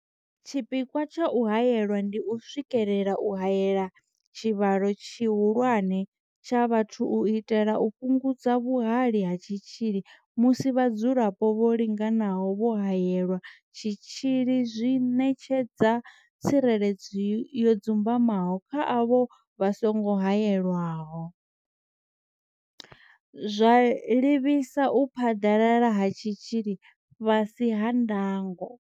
Tshipikwa tsha u haela ndi u swikelela u haela tshivhalo tshihulwane tsha vhathu u itela u fhungudza vhuhali ha tshitzhili musi vhadzulapo vho linganaho vho haelelwa tshitzhili zwi ṋetshedza tsireledzo yo dzumbamaho kha avho vha songo haelwaho, zwa livhisa u phaḓalala ha tshitzhili fhasi ha ndango.